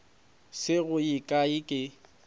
se go ye kae ke